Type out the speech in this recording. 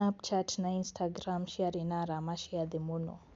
snapchat na instagram ciarĩ na arama cia thĩ muno